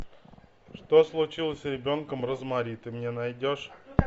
что случилось с ребенком розмари ты мне найдешь